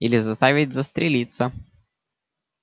или заставить застрелиться